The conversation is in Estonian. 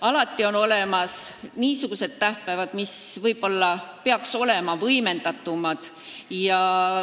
Aga on olemas niisugused tähtpäevad, mis peaks olema võimendatumad.